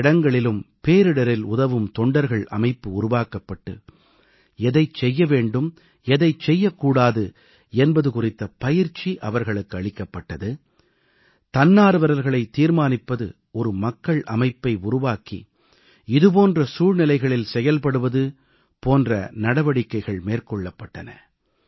பல இடங்களிலும் பேரிடரில் உதவும் தொண்டர்கள் அமைப்பு உருவாக்கப்பட்டு எதைச் செய்ய வேண்டும் எதைச் செய்யக் கூடாது என்பது குறித்த பயிற்சி இவர்களுக்கு அளிக்கப்பட்டது தன்னார்வலர்களைத் தீர்மானிப்பது ஒரு மக்கள் அமைப்பை உருவாக்கி இது போன்ற சூழ்நிலைகளில் செயல்படுவது போன்ற நடவடிக்கைகள் மேற்கொள்ளப்பட்டன